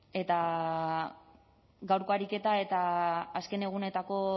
bueno eta gaurko ariketa eta azken egunetako